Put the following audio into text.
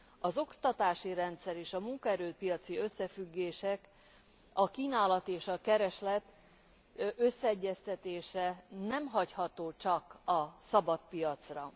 Az oktatási rendszer, és a munkaerő piaci összefüggések, a kínálat és a kereslet összeegyeztetése nem hagyható csak a szabad piacra.